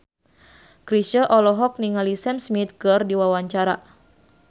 Chrisye olohok ningali Sam Smith keur diwawancara